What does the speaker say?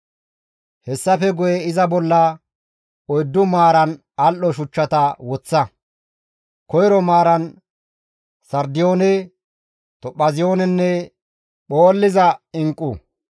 Hessafe guye iza bolla oyddu maaran al7o shuchchata woththa; koyro maaran sardiyoone, tophaaziyoonenne phoolliza inqqu.